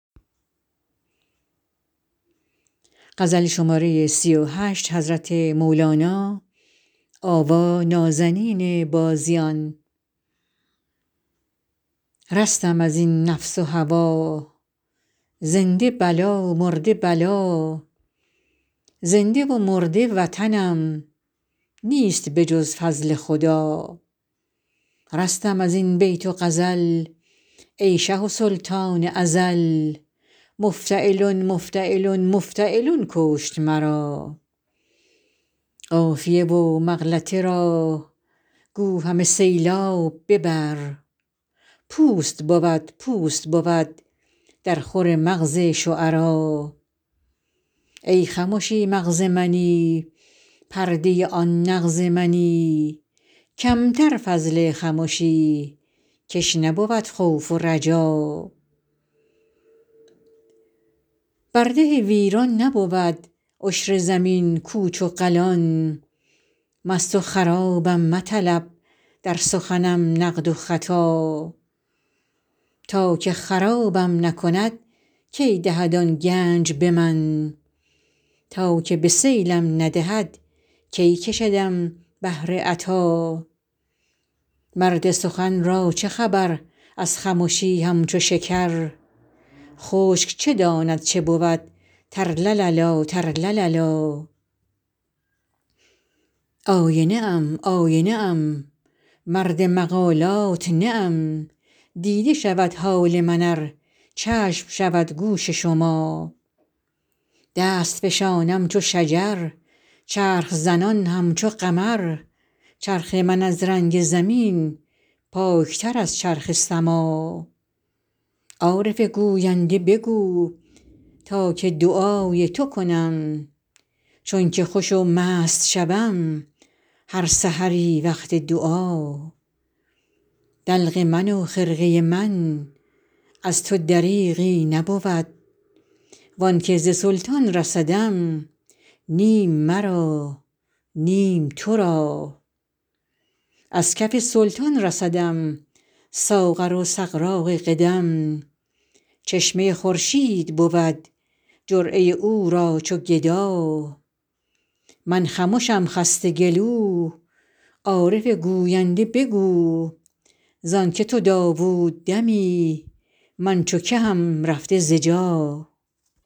رستم از این نفس و هوا زنده بلا مرده بلا زنده و مرده وطنم نیست به جز فضل خدا رستم از این بیت و غزل ای شه و سلطان ازل مفتعلن مفتعلن مفتعلن کشت مرا قافیه و مغلطه را گو همه سیلاب ببر پوست بود پوست بود درخور مغز شعرا ای خمشی مغز منی پرده آن نغز منی کم تر فضل خمشی کش نبود خوف و رجا بر ده ویران نبود عشر زمین کوچ و قلان مست و خرابم مطلب در سخنم نقد و خطا تا که خرابم نکند کی دهد آن گنج به من تا که به سیلم ندهد کی کشدم بحر عطا مرد سخن را چه خبر از خمشی همچو شکر خشک چه داند چه بود ترلللا ترلللا آینه ام آینه ام مرد مقالات نه ام دیده شود حال من ار چشم شود گوش شما دست فشانم چو شجر چرخ زنان همچو قمر چرخ من از رنگ زمین پاک تر از چرخ سما عارف گوینده بگو تا که دعای تو کنم چون که خوش و مست شوم هر سحری وقت دعا دلق من و خرقه من از تو دریغی نبود و آن که ز سلطان رسدم نیم مرا نیم تو را از کف سلطان رسدم ساغر و سغراق قدم چشمه خورشید بود جرعه او را چو گدا من خمشم خسته گلو عارف گوینده بگو ز آن که تو داوود دمی من چو کهم رفته ز جا